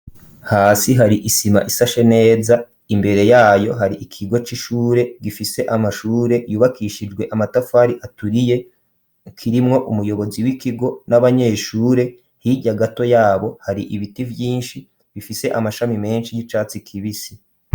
Hasi hari isima ishashe neza imbere yayo hari ikigo c'ishure gifise amashure yubakishijwe amatafari aturiye kirimwo umuyobozi w'ikigo n'abanyeshure hijya gato yabo hari ibiti byinshi bifise amashami menshi y'icatsi kibisi.